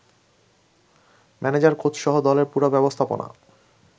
manager, কোচসহ দলের পুরো ব্যবস্থাপনা